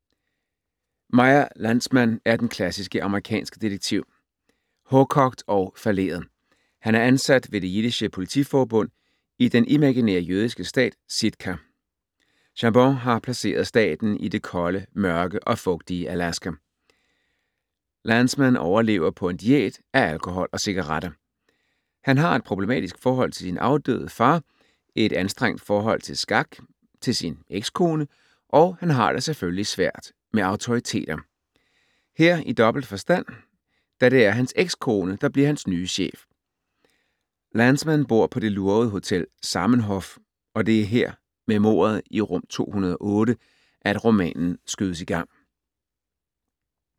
Meyer Landsman er den klassiske amerikanske detektiv, hårdkogt og falleret. Han er ansat ved Det jiddische politiforbund i den imaginære jødiske stat, Sitka. Chabon har placeret staten i det kolde, mørke og fugtige Alaska. Landsman overlever på en diæt af alkohol og cigaretter. Han har et problematisk forhold til sin afdøde far, et anstrengt forhold til skak, til sin ekskone og han har det selvfølgelig svært med autoriteter. Her i dobbelt forstand, da det er hans ekskone, der bliver hans nye chef. Landsman bor på det lurvede Hotel Zamenhof og det er her, med mordet i rum 208, at romanen skydes i gang.